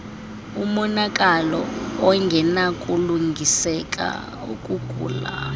umonakalo ongenakulungiseka ukugula